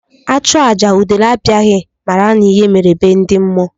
A chụọ àjà udele abịaghị, mara n'ihe mere be ndị mmụọ.